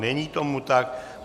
Není tomu tak.